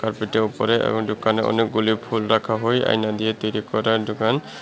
Carpet -এর ওপরে এবং দোকানে অনেকগুলো ফুল রাখা হয় আয়না দিয়ে তৈরি করা দোকান।